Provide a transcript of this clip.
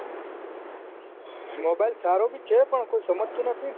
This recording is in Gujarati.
mobile સારો ભી છે પણ કોઈ સમજતું નથી ને